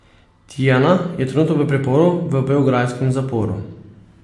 Tijana je trenutno v priporu v beograjskem zaporu.